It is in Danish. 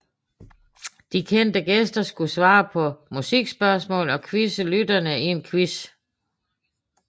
De kendte gæster skulle svare på musikspørgsmål og quizze lytterne i en quiz